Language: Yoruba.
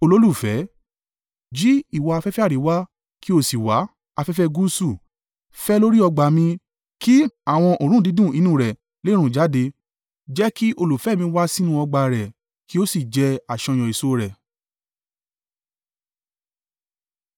Jí ìwọ afẹ́fẹ́ àríwá kí o sì wá, afẹ́fẹ́ gúúsù! Fẹ́ lórí ọgbà mi, kí àwọn òórùn dídùn inú rẹ lè rùn jáde. Jẹ́ kí olùfẹ́ mi wá sínú ọgbà a rẹ̀ kí ó sì jẹ àṣàyàn èso rẹ̀.